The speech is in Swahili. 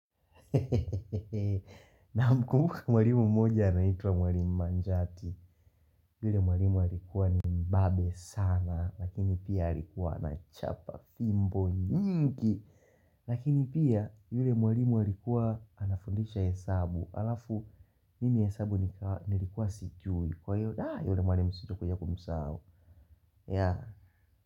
Namkumbuka mwalimu mmoja anaitwa mwalimu manjati yule mwalimu alikuwa ni mbabe sana Lakini pia alikuwa anachapa fimbo nyingi Lakini pia yule mwalimu alikuwa anafundisha hesabu Alafu mimi hesabu nilikuwa sijui Kwa hiyo da, yule mwalimu sitokuja kumsahau ya.